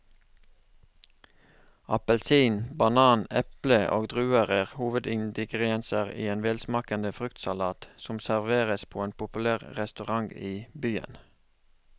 Appelsin, banan, eple og druer er hovedingredienser i en velsmakende fruktsalat som serveres på en populær restaurant i byen.